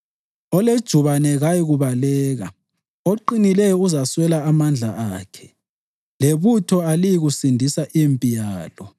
Olejubane kayikubaleka, oqinileyo uzawaswela amandla akhe, lebutho kaliyikusindisa impilo yalo.